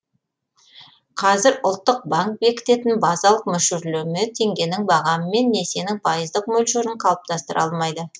қазір ұлттық банк бекітетін базалық мөлшерлеме теңгенің бағамы мен несиенің пайыздық мөлшерін қалыптастыра алмайды